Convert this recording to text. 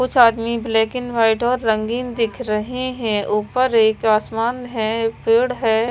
कुछ आदमी black and white और रंगीन दिख रहे हैं ऊपर एक आसमान है पेड़ है।